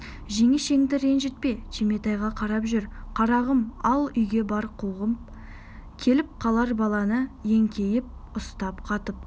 жеңешеңді ренжітпе түйметайға қарап жүр қарағым ал үйге бар қуғын келіп қалар баланы еңкейіп ұстап қатып